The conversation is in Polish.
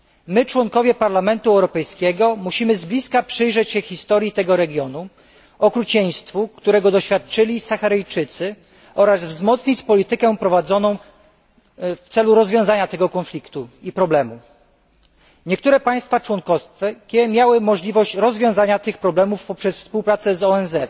My posłowie do Parlamentu Europejskiego musimy z bliska przyjrzeć się historii tego regionu, okrucieństwu, którego doświadczyli Saharyjczycy, oraz wzmocnić prowadzoną w celu rozwiązania tego konfliktu i problemu politykę. Niektóre państwa członkowskie miały możliwość rozwiązania tych problemów poprzez współpracę z